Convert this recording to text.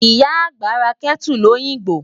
Ìyá àgbà ra Kẹ́tù lóyìngbò.